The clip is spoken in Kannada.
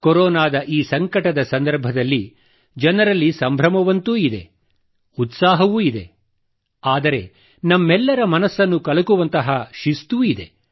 ಕೊರೊನಾದ ಈ ಸಂಕಟದ ಸ್ಥಿತಿಯಲ್ಲಿ ಜನರಲ್ಲಿ ಸಂಭ್ರಮವಂತೂ ಇದೆ ತ್ಸಾಹವೂ ಇದೆ ಆದರೆ ನಮ್ಮೆಲ್ಲರ ಮನಸ್ಸನ್ನು ಕಲಕುವಂತಹ ಶಿಸ್ತೂ ಇದೆ